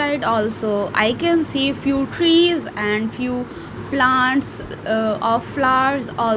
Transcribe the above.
also I can see few trees and few plants ahh of flowers al--